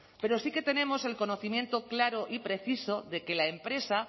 pero sí que tenemos el conocimiento claro y preciso de que la empresa